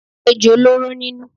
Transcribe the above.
Ejò lóró nínú.